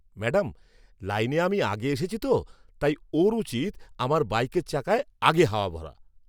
Madam, লাইনে আমি আগে এসেছি তো, তাই ওঁর উচিত আমার বাইকের চাকায় আগে হাওয়া ভরা।